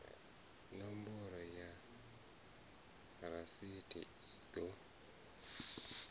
nomboro ya rasithi i ḓo